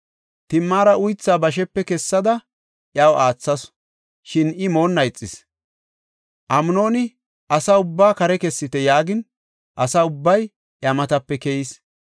Timaara uythaa bashepe kessada iyaw aathasu; shin I moonna ixis. Amnooni, “Asa ubbaa kare kessite” yaagin, asa ubbay iya matape keyis.